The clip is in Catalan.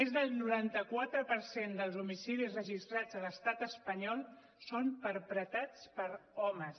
més del noranta quatre per cent dels homicidis registrats a l’estat espanyol són perpetrats per homes